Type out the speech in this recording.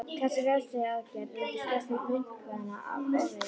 Þessar refsiaðgerðir reyndust flestum munkanna ofviða.